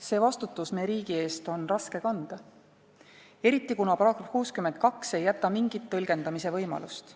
Seda vastutust me riigi ees on raske kanda, eriti kuna paragrahv 62 ei jäta mingit tõlgendamise võimalust.